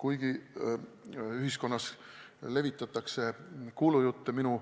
Kuigi ühiskonnas levitatakse kuulujutte minu